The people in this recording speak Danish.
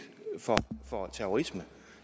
for for terrorisme